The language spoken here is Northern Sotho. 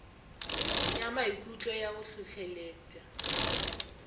ya maikutlo ya go hlohleletpa